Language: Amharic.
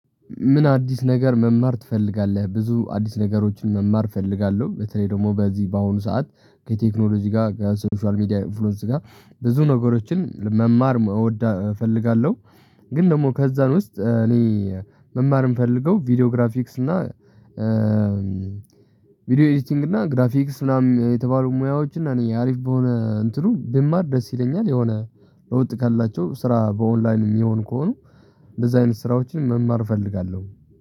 ምን አዲስ ነገር መማር ትፈልጋለህ? ብዙ አዲስ ነገሮችን መማር እፈልጋለሁ በተለይ ደግሞ በዚህ በአሁኑ ሰዓት ከቴክኖሎጂ ጋር ከሶሻል ሚዲያ ኢንፍሉዌንስ ጋር ብዙ ነገሮችን መማር እወዳለሁ እፈልጋለሁ። ግን ደግሞ ከዛ እ ውስጥ እኔ መማር እ ምፈልገው ቪዲዮ ግራፊክስ እእም እና ቪዲዮ ኤዲቲንግ እና ግራፊክስ ምናምን የተባሉ ሙያዎች እና እኔ አሪፍ በሆነ እንትኑ ብማር ደስ ይለኛል። የሆነ ለውጥ ካላቸው ስራ በኦንላይን የሚሆኑ ከሆኑ እንደዛ አይነት ስራዎችን መማር እፈልጋለሁ።